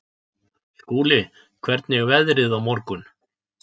Skúli, hvernig er veðrið á morgun?